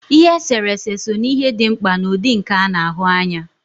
Ihe eserese so na ihe dị mkpa n'ụdị nka a na-ahụ anya